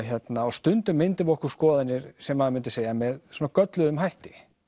stundum myndum við okkur skoðanir sem maður myndi segja með svona gölluðum hætti